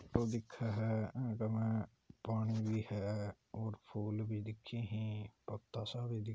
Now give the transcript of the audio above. photo दिखे है इक महा पानी भी है और फूल भी दिखे है और पता सी भी--